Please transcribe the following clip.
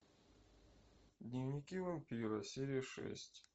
дневники вампира серия шесть